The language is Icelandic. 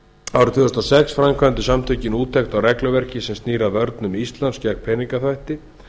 árið tvö þúsund og sex framkvæmdu samtökin úttekt á regluverki sem snýr að vörnum íslands gegn peningaþvætti